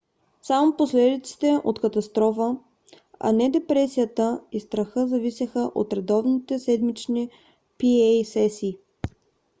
само последиците от катастрофа а не депресията и страха зависеха от редовните седмични pa сесии